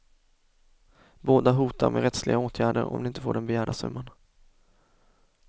Båda hotar med rättsliga åtgärder om de inte får den begärda summan.